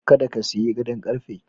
Kada ka sayi gadon ƙarfe.